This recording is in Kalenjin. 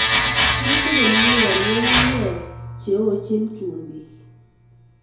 Rutu komie en ng'ungunyek cheochin chumbik.